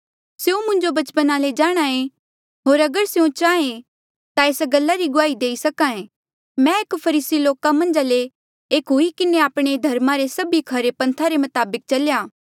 स्यों मुंजो बचपना ले जाणहां ऐें होर अगर स्यों चाहे ता एस गल्ला री गुआही देई सक्हा ऐें कि मैं एक फरीसी लोका मन्झा ले एक हुई किन्हें आपणे धर्मा रे सभी ले खरे पन्था रे मताबक चल्या